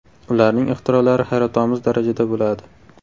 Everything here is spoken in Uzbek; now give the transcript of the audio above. Ularning ixtirolari hayratomuz darajada bo‘ladi.